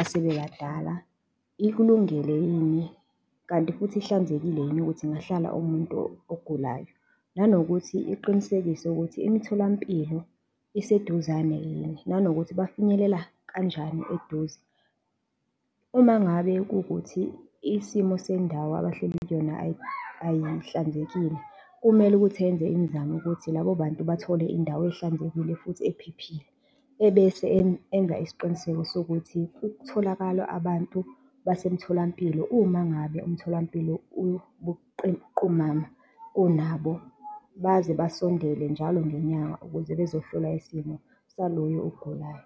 asebebadala ikulungele yini kanti futhi ihlanzekile yini ukuthi ingahlala umuntu ogulayo. Nanokuthi iqinisekise ukuthi imitholampilo iseduzane yini, nanokuthi bafinyelela kanjani eduze. Uma ngabe kuwukuthi isimo sendawo abahleli kuyona ayihlanzekile, kumele ukuthi enze imizamo ukuthi labo bantu bathole indawo ehlanzekile futhi ephephile, ebese enza isiqiniseko sokuthi ukutholakala abantu basemtholampilo, uma ngabe umtholampilo ubuqumama kunabo baze basondele njalo ngenyanga ukuze bezohlola isimo saloyo ogulayo.